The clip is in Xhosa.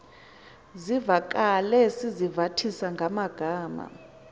zivakale sizivathisa ngamagama